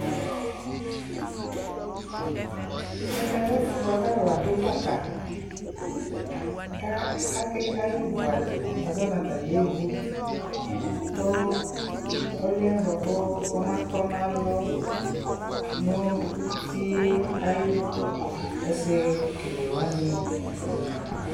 ɛmɛ lɛ ɛƒʋ bʋakʋ alʋ adʋ baka, ayɛ vʋ adi, yazɔnʋ atani yɛ vote kʋ ɔlʋɛ bʋakʋ ɔma tɔnʋ alɔ nʋ ʋtiɛ ayʋ ɛsɛ kɛlɛ wani li